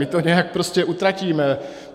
My to nějak prostě utratíme.